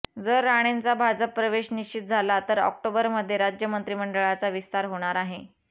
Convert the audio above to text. जर राणेंचा भाजप प्रवेश निश्चित झाला तर ऑक्टोबरमध्ये राज्य मंत्रीमंडळाचा विस्तार होणार आहे